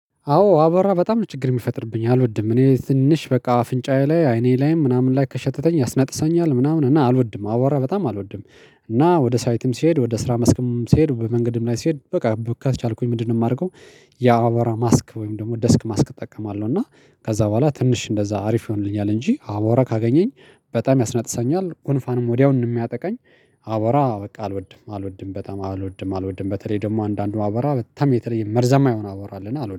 አዎ አቦራ በጣም ችግር የሚፈጥርብኝ አልወድም እኔ ትንሽ በቃ አፍንጫዬ ላይ አይኔ ላይም ምናምን ላይ ከሸተተኝ ያስነጥሰኛል ምናምን እና አልወድም አዋራ በጣም አልወድም። እና ወደ ሳይትም ስሄድ ወደ ስራ መስክም ስሄድ በመንገድም ላይ ስሄድ በቃ ካልቻልኩኝ ምንድነው የማደርገው? ያአቦራ ማስክ ወይም ደግሞ ደስክ ማስክ እጠቀማለሁ እና ከዛ በኋላ ትንሽ እንደዛ አሪፍ ይሆንልኛል። እንጂ አቦራ ካገኘኝ በጣም ያስናጥሰኛል ኩንፋንም ወዲያው የሚያጠቃኝ። አቦራ በቃ አልወድም አልወድም በጣም አልወድም አልወድም በተለይ ደግሞ አንዳንዱ አቦራ በጣም የተለየ መርዛማ የሆን አቦራ አለና አልወድም